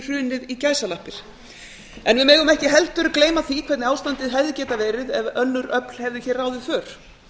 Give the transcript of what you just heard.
hrunið í gæsalappir við megum ekki heldur gleyma því hvernig ástandið hefði getað verið ef önnur öfl hefðu hér ráðið för